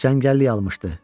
Çəngəlliyi almışdı.